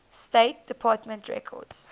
state department records